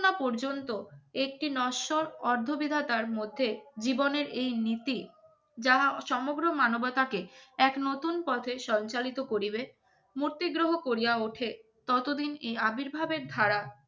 না পর্যন্ত একটি নশ্বর অর্ধ বিধাতার মধ্যে জীবনের এই নীতি যাহা সমগ্র মানবতাকে এক নতুন পথে সঞ্চালিত করিবেন মূর্তিদ্রহ করিয়া ওঠে ততদিন এই আবির্ভাবের ধারা